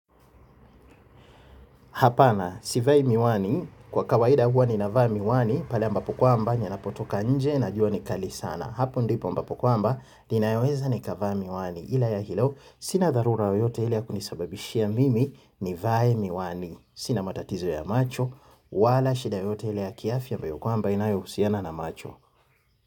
Hapana, sivai miwani, kwa kawaida huwa ninavaa miwani, pale ambapo kwamba, ninapotoka nje, na jua ni kali sana. Hapo ndipo ambapo kwamba, ninaweza nikavaa miwani, ila ya hilo, sina dharura yoyote ile ya kunisababishia mimi nivae miwani. Sina matatizo ya macho, wala shida yoyote ile ya kiafya ambayo kwamba inayohusiana na macho.